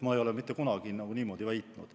Ma ei ole mitte kunagi niimoodi väitnud.